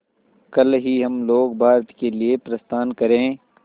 कल ही हम लोग भारत के लिए प्रस्थान करें